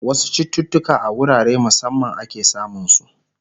wasu chututuka a wurare musamman ake samun su